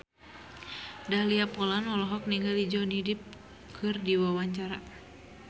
Dahlia Poland olohok ningali Johnny Depp keur diwawancara